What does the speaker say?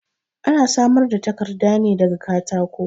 Ana samar da takarda ne da ga katako.